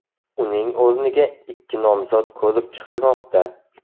Uning o‘rniga ikki nomzod ko‘rib chiqilmoqda.